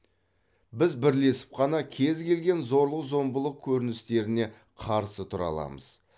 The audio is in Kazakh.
біз бірлесіп қана кез келген зорлық зомбылық көріністеріне қарсы тұра аламыз